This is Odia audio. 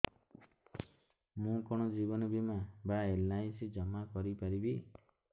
ମୁ କଣ ଜୀବନ ବୀମା ବା ଏଲ୍.ଆଇ.ସି ଜମା କରି ପାରିବି